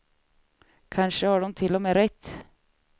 Kanske har de till och med rätt.